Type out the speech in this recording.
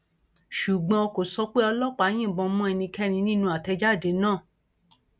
ṣùgbọn kò sọ pé ọlọpàá yìnbọn mọ ẹnikẹni nínú àtẹjáde náà